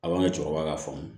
A b'an ka cɛkɔrɔba k'a faamu